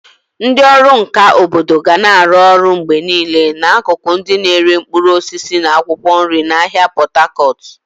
Ndị ọrụ nka obodo ga na-arụ ọrụ mgbe niile n'akụkụ ndị na-ere mkpụrụ osisi na akwụkwọ nri n'ahịa Pot Tarcot.